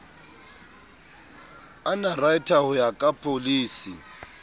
underwriter ho ya ka pholisi